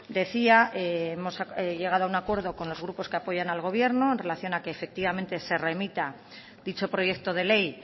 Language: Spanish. decía hemos llegado a un acuerdo con los grupos que apoyan al gobierno en relación a que efectivamente se remita dicho proyecto de ley